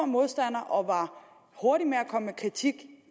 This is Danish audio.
modstander og var hurtig med at komme med kritik